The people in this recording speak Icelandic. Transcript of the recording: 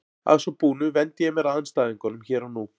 Að svo búnu vendi ég mér að andstæðingunum hér og nú.